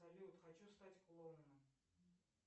салют хочу стать клоуном